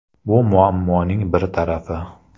Bu muammoning bir tarafi.